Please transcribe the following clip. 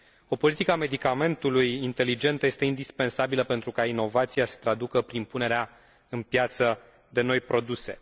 O politică a medicamentului inteligentă este indispensabilă pentru ca inovația să se traducă prin punerea în piață de noi produse.